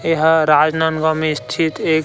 ये हा राजनंदगांव म स्थित एक--